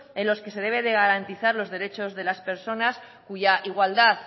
en los que se debe de garantizar los derechos de las personas cuya igualdad